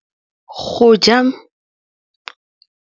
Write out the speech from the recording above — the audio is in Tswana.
Go ja maungo ke ditlhokegô tsa go nontsha mmele.